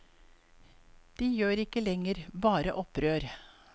De gjør ikke lenger bare opprør.